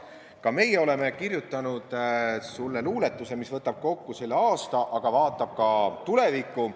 Ka meie oleme kirjutanud sulle luuletuse, mis võtab kokku selle aasta, aga vaatab ka tulevikku.